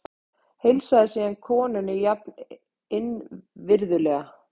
Heilsaði síðan konunni jafn innvirðulega.